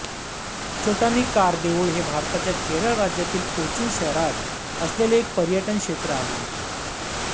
चोट्टानीक्कार देऊळ हे भारताच्या केरळ राज्यातील कोचीन शहरात असलेले एक पर्यटन क्षेत्र आहे